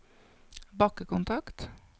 bakkekontakt